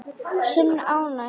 Sönn ánægja.